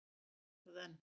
Hún er það enn.